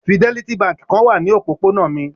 Fidelity Báńkì kan wà ní òpópónà mi.